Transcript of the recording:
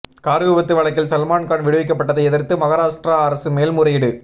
car விபத்து வழக்கில் சல்மான் கான் விடுவிக்கப்பட்டதை எதிர்த்து மகாராஷ்டிரா அரசு மேல்முறையீடு